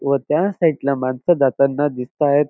व त्या साइड ला मानस जाताना दिसतायेत.